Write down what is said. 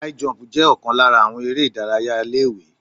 High jump jẹ́ ọ̀kan lára àwọn eré ìdárayá ilé ìwé.